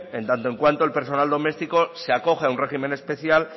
en tanto en cuanto el personal doméstico se acoge a un régimen especial